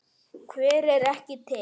Hver er ekki til?